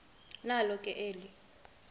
nalo ke eli